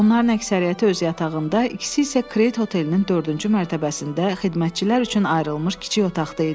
Onların əksəriyyəti öz yatağında, ikisi isə Kred otelinin dördüncü mərtəbəsində xidmətçilər üçün ayrılmış kiçik otaqda idi.